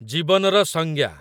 ଜୀବନର ସଂଜ୍ଞା